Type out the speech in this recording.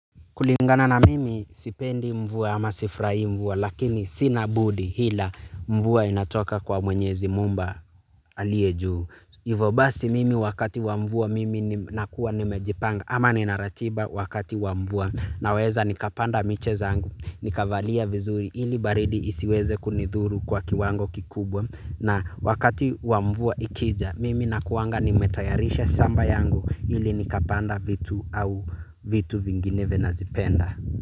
Kulingana na mimi, sipendi mvua ama sifurahii mvua lakini sina budi hila mvua inatoka kwa Mwenyezi Mumba alie juu. Ivo basi, mimi wakati wa mvua mimi nakua ni mejipanga ama nina ratiba wakati wa mvua. Naweza nikapanda miche zangu. Nikavalia vizuri ili baridi isiweze kunidhuru kwa kiwango kikubwa. Na wakati wa mvua, ikija mimi nakuanga nimetayarisha samba yangu, ili nikapanda vitu au vitu vingineve nazipenda.